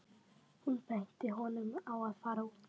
Hún benti honum á að fara út.